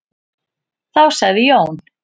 Þá sagði Jón: